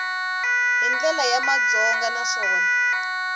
hi ndlela ya madyondza naswona